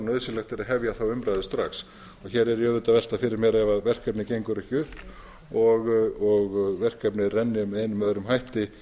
er að hefja þá umræðu strax hér er ég auðvitað að velta fyrir mér ef verkefni gengur ekki upp og verkefnið renni með einum eða öðrum hætti